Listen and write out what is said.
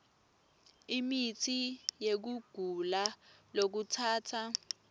imitsi yekugula lokutsatsa